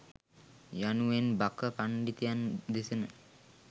යනුවෙන් බක පණ්ඩිතයන් දෙසන